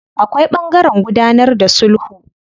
Akwai ɓangaren gudanar da sulhu.